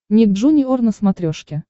ник джуниор на смотрешке